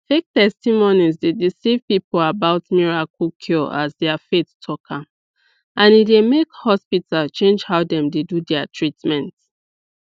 fake testimonies dey deceive people about miracle cure as their faith talk am and e dey make hospital change how dem dey do their treatment